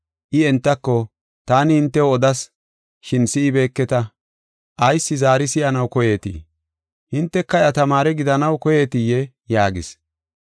I entako, “Taani hintew odas, shin si7ibeeketa. Ayis zaari si7anaw koyeetii? Hinteka iya tamaare gidanaw koyeetiyee?” yaagis.